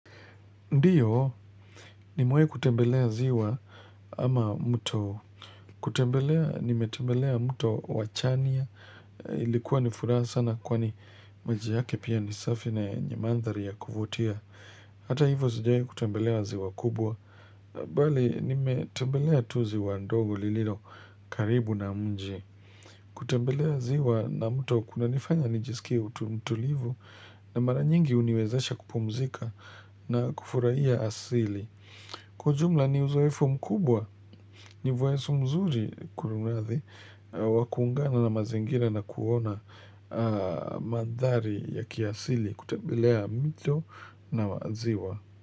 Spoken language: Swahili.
Ndiyo, nimewai kutembelea ziwa ama mto. Kutembelea, nimetembelea mto wa chania. Ilikuwa ni furaha sana kwani maji yake pia ni safi na yenye mandhari ya kuvutia. Hata hivo sijawai kutembelea ziwa kubwa. Bali, nimetembelea tu ziwa ndogo lililo karibu na mji. Kutembelea ziwa na mto kunanifanya nijisikie utu mtulivu. Na mara nyingi huniwezesha kupumzika na kufurahia asili. Kwa ujumla ni uzoefu mkubwa, ni vueso mzuri kurunathi wa kuungana na mazingira na kuona madhari ya kiasili kutembelea mito na maziwa.